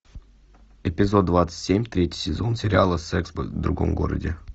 эпизод двадцать семь третий сезон сериала секс в другом городе